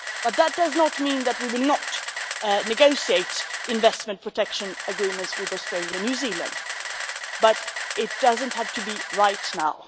That does not mean that we will not negotiate investment protection agreements with Australia and New Zealand, but it does not have to be right now.